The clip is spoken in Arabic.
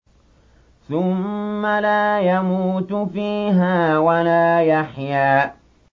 ثُمَّ لَا يَمُوتُ فِيهَا وَلَا يَحْيَىٰ